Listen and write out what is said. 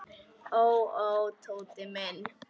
Ó, ó, Tóti minn.